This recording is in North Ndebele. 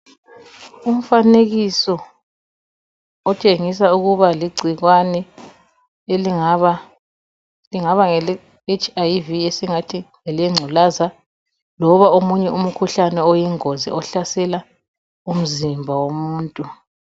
Umfanekiso otshengisa ukuba ligcikwane elingaba lingaba ngeleHIV esingathi ngelengculaza loba omunye umkhuhlane oyingozi ohlasela umzimba womuntu.